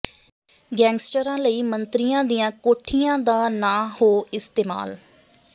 ਗੈਂਗਸਟਰਾਂ ਲਈ ਮੰਤਰੀਆਂ ਦੀਆਂ ਕੋਠੀਆਂ ਦਾ ਨਾ ਹੋ ਇਸਤੇਮਾਲ